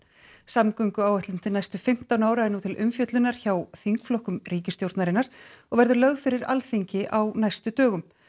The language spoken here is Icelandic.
samgönguáætlun til næstu fimmtán ára er nú til umfjöllunar hjá þingflokkum ríkisstjórnarinnar og verður lögð fyrir Alþingi á næstu dögum